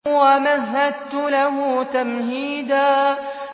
وَمَهَّدتُّ لَهُ تَمْهِيدًا